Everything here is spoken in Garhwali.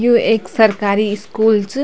यु ऐक सरकारी स्कूल च।